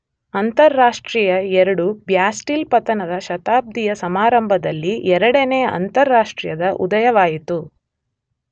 ಅಂತಾರಾಷ್ಟ್ರೀಯ II ,Bastille ಪತನದ ಶತಾಬ್ದಿಯ ಸಮಾರಂಭದಲ್ಲಿ ಎರಡನೆಯ ಅಂತಾರಾಷ್ಟ್ರೀಯದ ಉದಯವಾಯಿತು.